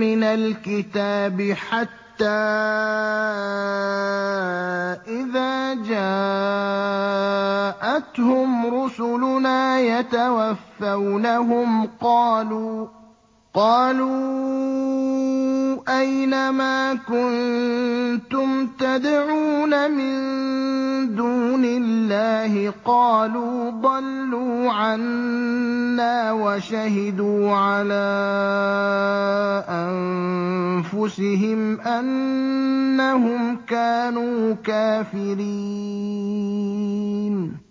مِّنَ الْكِتَابِ ۖ حَتَّىٰ إِذَا جَاءَتْهُمْ رُسُلُنَا يَتَوَفَّوْنَهُمْ قَالُوا أَيْنَ مَا كُنتُمْ تَدْعُونَ مِن دُونِ اللَّهِ ۖ قَالُوا ضَلُّوا عَنَّا وَشَهِدُوا عَلَىٰ أَنفُسِهِمْ أَنَّهُمْ كَانُوا كَافِرِينَ